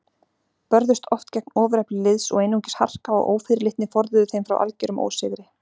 Börðust oft gegn ofurefli liðs og einungis harka og ófyrirleitni forðuðu þeim frá algerum ósigri.